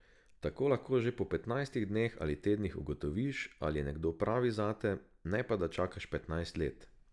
Tako lahko že po petnajstih dneh ali tednih ugotoviš, ali je nekdo pravi zate, ne pa da čakaš petnajst let.